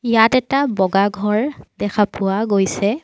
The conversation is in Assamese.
ইয়াত এটা বগা ঘৰ দেখা পোৱা গৈছে।